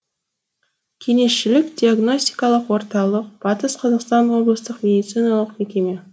кеңесшілік диагностикалық орталық батыс қазақстан облыстық медициналық мекеме